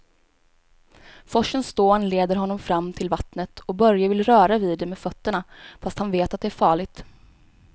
Forsens dån leder honom fram till vattnet och Börje vill röra vid det med fötterna, fast han vet att det är farligt.